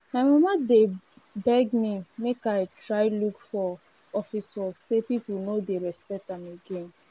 my mama dey beg me make i try look for office work say people no dey respect am again